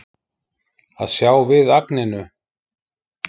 Að sjá við agninu